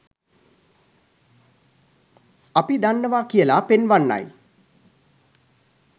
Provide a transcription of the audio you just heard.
අපි දන්නවා කියලා පෙන්වන්නයි.